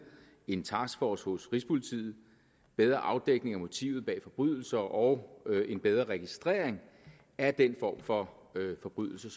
en taskforce hos rigspolitiet bedre afdækning af motivet bag forbrydelser og en bedre registrering af den form for forbrydelse